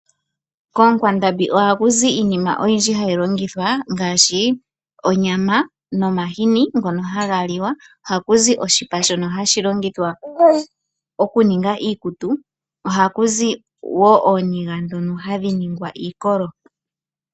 Koonkwandambi oha kuzi iinima oyindji hayi longithwa ngaashi onyama nomahini ngono haga liwa, ohakuzi oshipa shono hashi longithwa okuninga iikutu, ohakuzi woo ooniga ndhono hadhi ningwa iikolo.